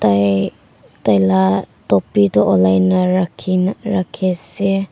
tailah topi toh olai nah rakhi nah rakhi ase.